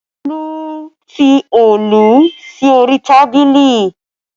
Tolu fi Òòlù sí orí tábìlì